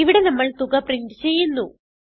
ഇവിടെ നമ്മൾ തുക പ്രിന്റ് ചെയ്യുന്നു